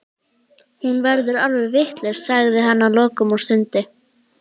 Hún verður alveg vitlaus, sagði hann að lokum og stundi.